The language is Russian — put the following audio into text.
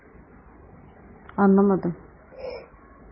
оно надо